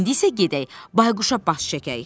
İndi isə gedək Bayquşa baş çəkək.